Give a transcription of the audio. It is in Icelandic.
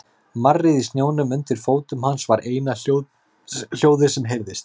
Marrið í snjónum undir fótum hans var eina hljóðið sem heyrðist.